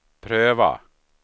pröva